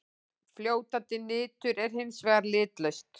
Fljótandi nitur er hins vegar litlaust.